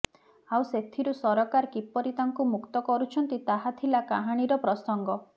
ଆଉ ସେଥିରୁ ସରକାର କିପରି ତାଙ୍କୁ ମୁକ୍ତ କରୁଛନ୍ତି ତାହା ଥିଲା କାହାଣୀର ପ୍ରସଙ୍ଗ